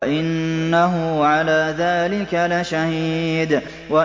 وَإِنَّهُ عَلَىٰ ذَٰلِكَ لَشَهِيدٌ